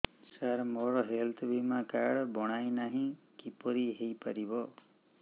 ସାର ମୋର ହେଲ୍ଥ ବୀମା କାର୍ଡ ବଣାଇନାହିଁ କିପରି ହୈ ପାରିବ